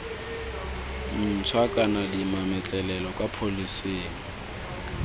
ntšhwa kana dimametlelelo kwa pholising